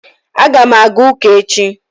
A ga m aga ụka echi